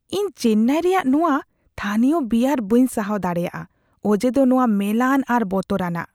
ᱤᱧ ᱪᱮᱱᱱᱟᱭ ᱨᱮᱭᱟᱜ ᱱᱚᱶᱟ ᱛᱷᱟᱹᱱᱤᱭᱚ ᱵᱤᱭᱟᱨ ᱵᱟᱹᱧ ᱥᱟᱦᱟᱣ ᱫᱟᱲᱮᱭᱟᱜᱼᱟ ᱚᱡᱮᱫᱚ ᱱᱚᱶᱟ ᱢᱮᱞᱟᱱ ᱟᱨ ᱵᱚᱛᱚᱨᱟᱱᱟᱜ ᱾